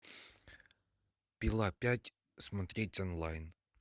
пила пять смотреть онлайн